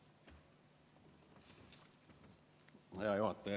Hea juhataja!